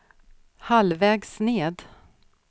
halvvägs ned